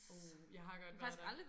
Uh jeg har godt været der